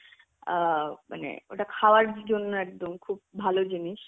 অ্যাঁ মানে ওটা খাওয়ার জন্য একদম খুব ভালো জিনিস.